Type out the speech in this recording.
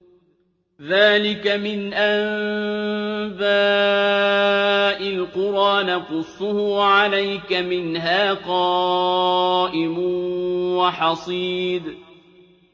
ذَٰلِكَ مِنْ أَنبَاءِ الْقُرَىٰ نَقُصُّهُ عَلَيْكَ ۖ مِنْهَا قَائِمٌ وَحَصِيدٌ